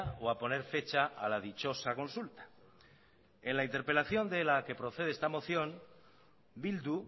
o a poner fecha a la dichosa consulta en la interpelación de la que procede esta moción bildu